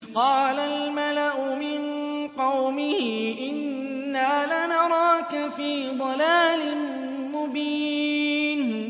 قَالَ الْمَلَأُ مِن قَوْمِهِ إِنَّا لَنَرَاكَ فِي ضَلَالٍ مُّبِينٍ